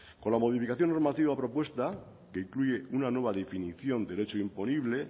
con la modificación de normativa propuesta que incluye una nueva definición del hecho imponible